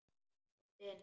Komdu inn